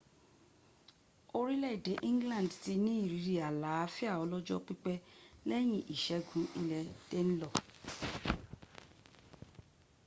orílẹ̀èdè england ti ní ìrírí àlàáfíà ọlọ́jọ́ pípẹ́ lẹ́yìn ìṣẹ́gun ilẹ̀ danelaw